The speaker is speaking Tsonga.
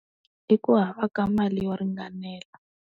I ku hava ka mali yo ringanela.